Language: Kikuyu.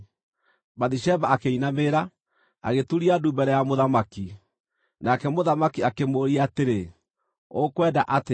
Bathisheba akĩinamĩrĩra, agĩturia ndu mbere ya mũthamaki. Nake mũthamaki akĩmũũria atĩrĩ, “Ũkwenda atĩa?”